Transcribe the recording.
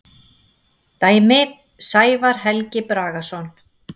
Dæmi: Sævar Helgi Bragason.